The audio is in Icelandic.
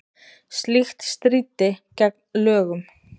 Slíkt stríddi gegn lögum